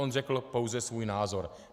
On řekl pouze svůj názor.